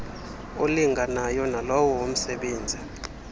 olinganayo nalowo womsebenzi